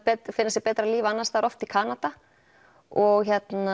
finna sér betra líf annars staðar oft í Kanada og